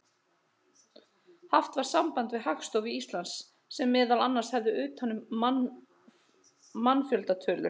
Haft var samband við Hagstofu Íslands sem meðal annars heldur utan um mannfjöldatölur.